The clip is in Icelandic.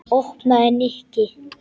Opnaðu, Nikki.